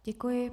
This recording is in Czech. Děkuji.